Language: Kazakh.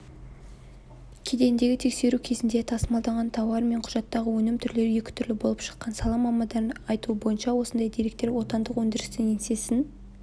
кедендегі тексеру кезінде тасымалданған тауар мен құжаттағы өнім түрлері екі түрлі болып шыққан сала мамандарының айтуынша осындай деректер отандық өндірістің еңсесін